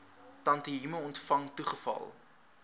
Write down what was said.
tantième ontvang toegeval